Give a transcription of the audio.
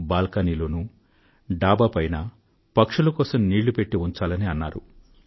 balcony లోనూ డాబా పైనా పక్షుల కోసం నీళ్ళు పెట్టి ఉంచాలని అన్నారు